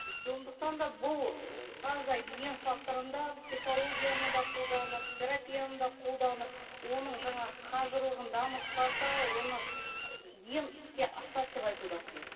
сондықтан да бұл ы таза ем факторында психологияны да қолданып терапияны да қоладанып оның жаңағы қажырлығын дамытпаса оны ем іске асады деп айту да қиын